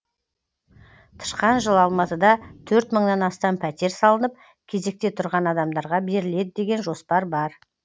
тышқан жылы алматыда төрт мыңнан астам пәтер салынып кезекте тұрған адамдарға беріледі деген жоспар бар